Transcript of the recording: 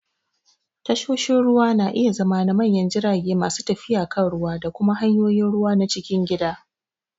Tashoshin ruwa na iya zama na manyan jirage masu tafiya kan ruwa da kuma hanyoyin ruwa na cikin gida.